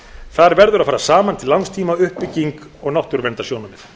þar verða að fara saman til langs tíma uppbygging og náttúruverndarsjónarmið